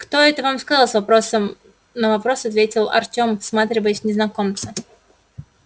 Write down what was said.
кто это вам сказал вопросом на вопрос ответил артем всматриваясь в незнакомца